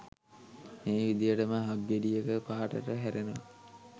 මේ විදිහටම හක්ගෙඩියක පාටට හැරෙනවා